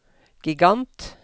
gigant